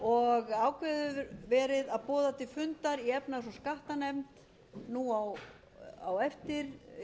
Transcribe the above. ákveðið hefur verið að boða til fundar í efnahags og skattanefnd nú á eftir